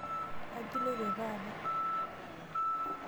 Kaji iloto taata?